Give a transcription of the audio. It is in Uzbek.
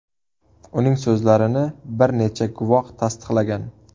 Uning so‘zlarini bir necha guvoh tasdiqlagan.